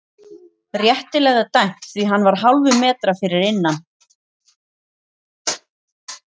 Réttilega dæmt því hann var hálfum metra fyrir innan.